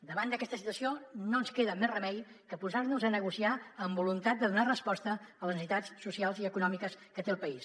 davant d’aquesta situació no ens queda més remei que posar nos a negociar amb voluntat de donar resposta a les necessitats socials i econòmiques que té el país